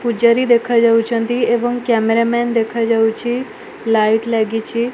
ପୂଜାରୀ ଦେଖା ଯାଉଚନ୍ତି ଏବଂ କ୍ୟାମେରା ମାନେ ଦେଖାଯାଉଛି ଲାଇଟ୍ ଲାଗିଛି।